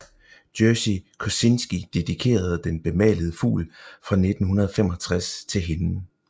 Jerzy Kosinski dedikerede Den bemalede fugl fra 1965 til hende